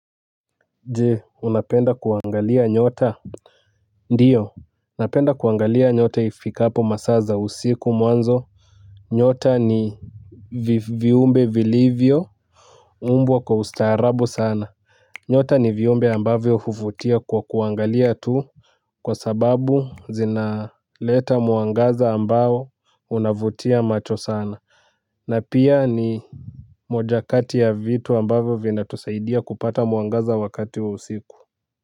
Je unapenda kuangalia nyota. Ndiyo napenda kuangalia nyota ifikapo masaa za usiku mwanzo. Nyota ni viumbe vilivyo umbwa kwa ustaarabu sana. Nyota ni viumbe ambavyo huvutia kwa kuangalia tu. Kwa sababu zinaleta mwangaza ambao unavutia macho sana. Na pia ni mojakati ya vitu ambavyo vinatusaidia kupata mwangaza wakati wa usiku. Kwa hivyo.